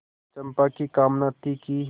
चंपा की कामना थी कि